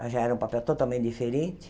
Já era um papel totalmente diferente.